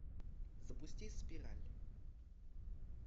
запусти спираль